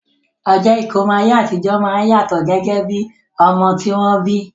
Ọjọ́ ìkómọ ní ayé àtijọ́ máa ń yàtọ̀ gẹ́gẹ́ bí ọmọ tí wọ́n bí